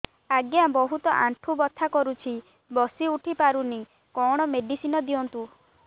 ଆଜ୍ଞା ବହୁତ ଆଣ୍ଠୁ ବଥା କରୁଛି ବସି ଉଠି ପାରୁନି କଣ ମେଡ଼ିସିନ ଦିଅନ୍ତୁ